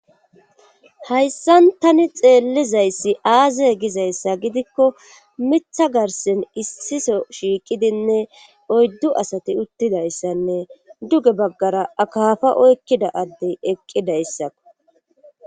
hayssan tani xeellizayssi aazey gizayssa gidikko mitha garsen issiso shiiqidinne oyddu asati uttidayssanne duge baggara akaafa oykkida addey eqqidayssakko